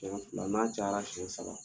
Kɛmɛ fila n' a cayara kɛmɛ saba